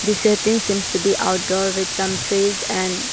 The setting seems to be outdoor with some trees and --